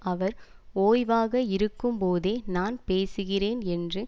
அவர் ஓய்வாக இருக்கும்போதே நான் பேசுகிறேன் என்று